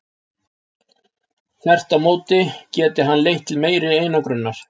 Þvert á móti geti bann leitt til meiri einangrunar.